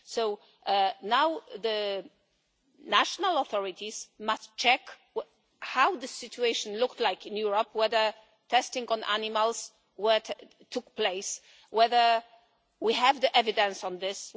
So now the national authorities must check what the situation looked like in Europe, whether testing on animals took place and whether we have evidence of this.